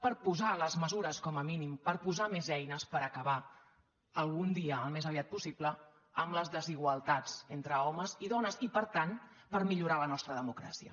per posar les mesures com a mínim per posar més eines per acabar algun dia al més aviat pos·sible amb les desigualtats entre homes i dones i per tant per millorar la nostra democràcia